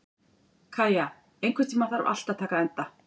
Kæja, einhvern tímann þarf allt að taka enda.